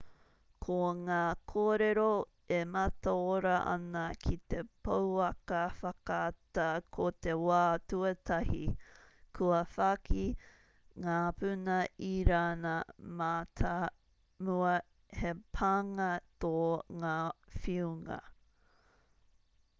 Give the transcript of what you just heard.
ko ngā kōrero e mataora ana ki te pouaka whakaata ko te wā tuatahi kua whāki ngā puna irāna mātāmua he pānga tō ngā whiunga